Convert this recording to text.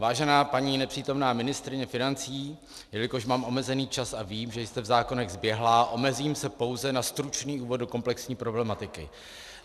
Vážená paní nepřítomná ministryně financí, jelikož mám omezený čas a vím, že jste v zákonech zběhlá, omezím se pouze na stručný úvod do komplexní problematiky.